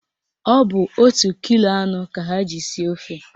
Ọ bụ otu kilo anụ ka ha ji sie ofe